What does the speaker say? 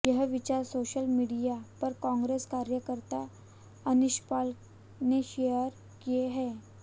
यह विचार social media पर कांग्रेस कार्यकर्त्ता अनीशपाल ने शेयर किए है